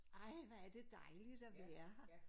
Ej hvor er det dejligt at være her